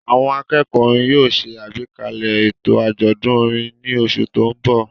Àwọn akẹ́kọ̀ọ́ orin yóò ṣe àgbékalẹ̀ ètò àjọ̀dún orin ní oṣù tó ń bọ̀.